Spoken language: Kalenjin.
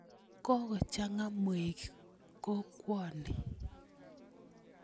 Kokochang'a mweik kokwa ni.